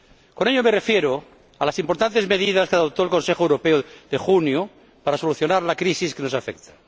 Con ello me refiero a las importantes medidas que adoptó el Consejo Europeo de junio para solucionar la crisis que nos afecta.